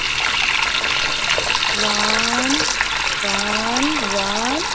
One, One, One,